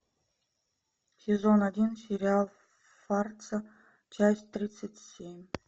сезон один сериал фарца часть тридцать семь